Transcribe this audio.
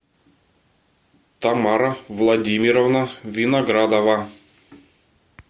тамара владимировна виноградова